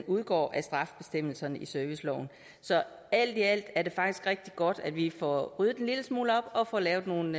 udgår af straffebestemmelserne i serviceloven så alt i alt er det faktisk rigtig godt at vi får ryddet en lille smule op og får lavet nogle